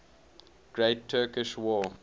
great turkish war